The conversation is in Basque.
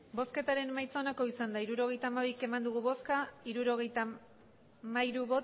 hirurogeita hamabi eman dugu bozka hirurogeita hamairu